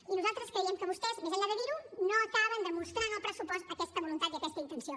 i nosaltres creiem que vostès més enllà de dir ho no acaben de mostrar en el pressupost aquesta voluntat i aquesta intenció